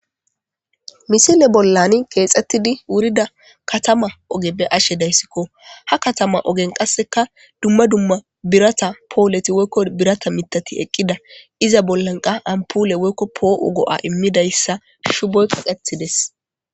misile bollan keexxettidi wurida katama ogeppe ashe dayssikko ha katama ogen qasseka dumma dumma birata poholeti woykko birata mitati eqqida iza bollanqa ampule woykko poo7o go7a immidayssa shuboy qaqetides